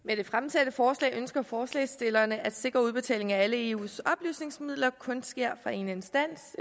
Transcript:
med det fremsatte forslag ønsker forslagsstillerne at sikre at udbetalingen af alle eus oplysningsmidler kun sker fra én instans